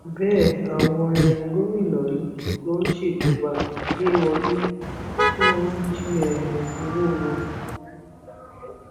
bẹẹ àwọn um gómìnà yìí ló ń ṣèjọba lé wọn lórí tí wọn ń jí um owó wọn